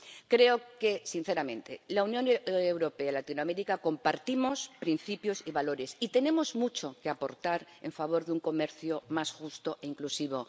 Creo sinceramente que la Unión Europea y Latinoamérica compartimos principios y valores, y tenemos mucho que aportar en favor de un comercio más justo e inclusivo.